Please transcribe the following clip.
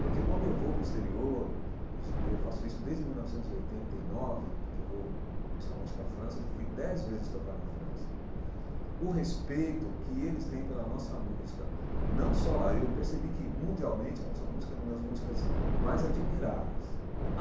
Porque quando eu vou para o exterior, e já e eu faço isso desde mil novecentos e oitenta e nove, que eu vou principalmente para a França, eu já fui dez vezes tocar na França, o respeito que eles têm pela nossa música, não só lá, eu percebi que mundialmente a nossa música é uma das músicas mais admiradas.